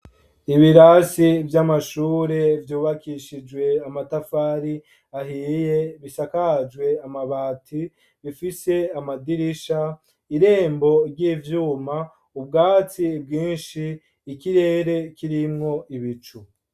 Ibirasi vy'amashure vyubakishijwe amatafari ahiye, bisakajwe amabati, bifise amadirisha, irembo ry'ivyuma, ubwatsi bwinshi, ikirere kirimwo ibicu.